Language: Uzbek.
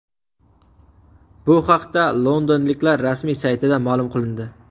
Bu haqda londonliklar rasmiy saytida ma’lum qilindi.